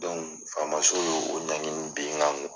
faamaso y'o o ɲangi min ben n kan.